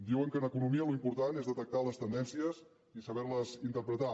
diuen que en economia l’important és detectar les tendències i saber les interpretar